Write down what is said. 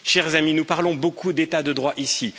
Chers amis, nous parlons beaucoup d'état de droit ici.